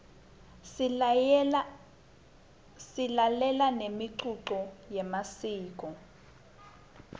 silalela nemicuco yemasiko